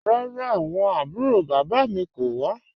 Rárá, awọn àbúrò baba mi kò wà.